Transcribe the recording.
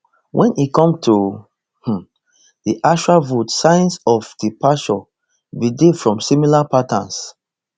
wen e come to um di actual vote signs of departures bin dey from familiar patterns